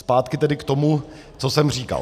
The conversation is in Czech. Zpátky tedy k tomu, co jsem říkal.